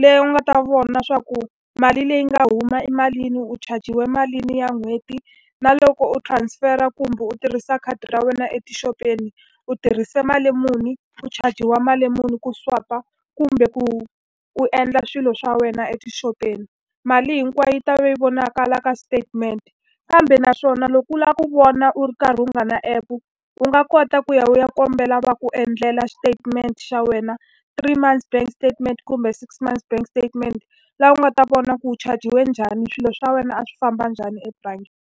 leyi u nga ta vona leswaku mali leyi nga huma i malini, u chajiwe malini ya n'hweti. Na loko u transfer-a kumbe u tirhisa khadi ra wena etixopeni, u tirhise mali muni, u chajiwa mali muni ku swipe-a, kumbe ku u endla swilo swa wena etixopeni. Mali hinkwayo yi ta va yi vonakala ka statement. Kambe naswona loko u lava ku vona u ri karhi u nga ri na app-u, u nga kota ku ya u ya kombela va ku endlela statement xa wena, three months bank statement kumbe six months bank statement. Laha u nga ta vona ku u chajiwe njhani, swilo swa wena a swi famba njhani ebangini.